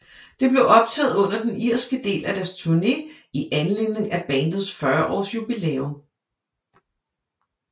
Det blev optaget under den irske del af deres turne i anledning af bandet 40 års jubilæum